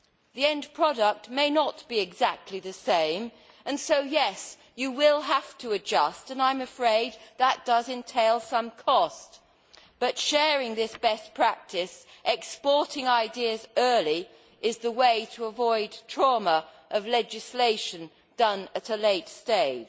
The end product may not be exactly the same and therefore you will have to adjust, and I am afraid that does entail some cost. But sharing this best practice, exporting ideas early, is the way to avoid the trauma of legislation at a late stage.